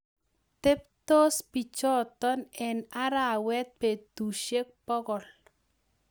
Teptoos pichoto eng arawet petusiek pokol